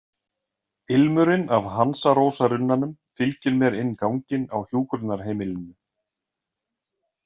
Ilmurinn af hansarósarunnanum fylgir mér inn ganginn á hjúkrunarheimilinu.